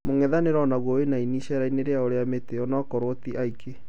mũng'ethanĩro onagũo wĩna aini icariaini rĩao rĩa mĩtĩ, onakorwo tĩ aingĩ